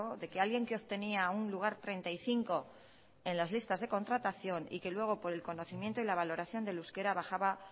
de que alguien que obtenía un lugar treinta y cinco en las listas de contratación y que luego por el conocimiento y la valoración del euskera bajaba